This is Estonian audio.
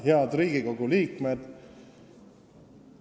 Head Riigikogu liikmed!